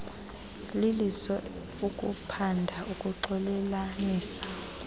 liliso ukuphanda ukuxolelanisa